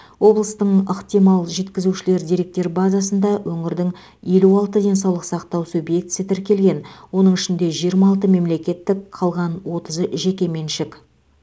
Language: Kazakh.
облыстың ықтимал жеткізушілер деректер базасында өңірдің елу алты денсаулық сақтау субъектісі тіркелген оның ішінде жиырма алты мемлекеттік қалған отызы жеке меншік